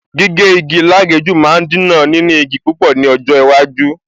Gígé igi lágèéjú máa Dínà níní igi púpọ̀ ní ọjọ́ iwájú